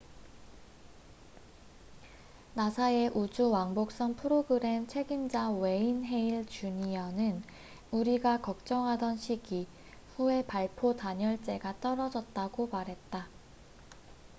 "나사의 우주 왕복선 프로그램 책임자 웨인 헤일 주니어n. wayne hale jr.는 "우리가 걱정하던 시기" 후에 발포 단열재가 떨어졌다고 말했다.